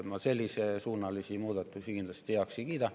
Ma sellesuunalisi muudatusi kindlasti heaks ei kiida.